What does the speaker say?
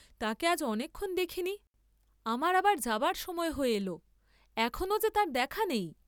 তাকে আজ অনেকক্ষণ দেখি নি, আমার আবার যাবার সময় হয়ে এল, এখনো যে তার দেখা নেই?